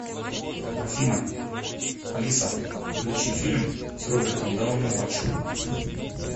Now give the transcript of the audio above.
афина алиса включи фильм с робертом дауни младшим